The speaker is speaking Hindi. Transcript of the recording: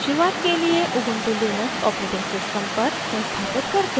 शुरुआत के लिए ubuntu लिनक्स os पर संस्थापित करते हैं